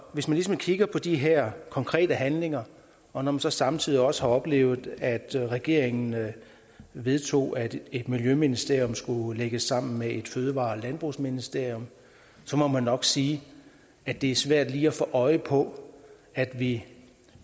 hvis man ligesom kigger på de her konkrete handlinger og når man så samtidig også har oplevet at regeringen vedtog at miljøministeriet skulle lægges sammen med fødevare og landbrugsministeriet må man nok sige at det er svært lige at få øje på at vi